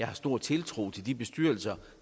har stor tiltro til de bestyrelser